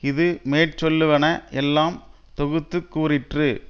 இது மேற் சொல்லுவன எல்லாம் தொகுத்து கூறிற்று